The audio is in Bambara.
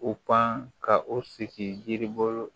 O pan ka o sigi yiri bolo